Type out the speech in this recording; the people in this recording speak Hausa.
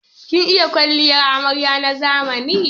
Kin iya yin kwalliyar amarya na zamani?